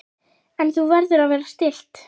En þú verður að vera stillt.